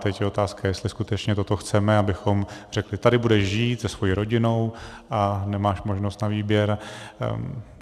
Teď je otázka, jestli skutečně toto chceme, abychom řekli: tady budeš žít se svou rodinou a nemáš možnost na výběr.